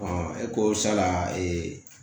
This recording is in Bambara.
e ko sala